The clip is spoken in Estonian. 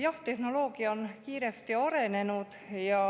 Jah, tehnoloogia on kiiresti arenenud.